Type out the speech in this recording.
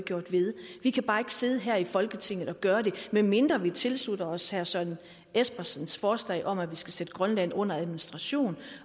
ved vi kan bare ikke sidde her i folketinget og gøre det medmindre vi tilslutter os herre søren espersens forslag om at vi skal sætte grønland under administration